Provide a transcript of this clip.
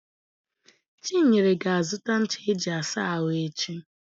Chinyere ga-azụta ncha eji asa ahụ echi.